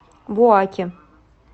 буаке